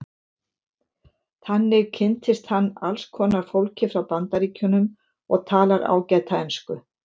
Þannig kynntist hann alls konar fólki frá Bandaríkjunum og talar ágæta ensku.